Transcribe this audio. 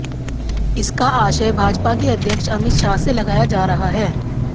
इसका आशय भाजपा के अध्यक्ष अमित शाह से लगाया जा रहा है